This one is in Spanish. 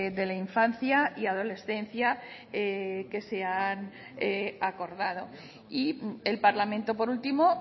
de la infancia y adolescencia que se han acordado y el parlamento por último